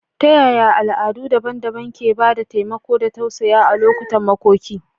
Ta yaya al'adu daban-daban ke ba da taimako da tausayawa a lokutan makoki?